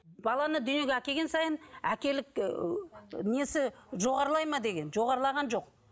баланы дүниеге әкелген сайын әкелік несі жоғарылайды ма деген жоғарылаған жоқ